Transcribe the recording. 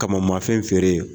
Kama man fɛn feere